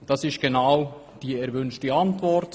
Das ist genau die erwünschte Antwort.